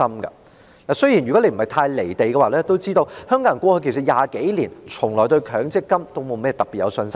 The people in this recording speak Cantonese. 如果主席不是太"離地"便應該知道，香港人過去20多年從來都沒對強積金有信心。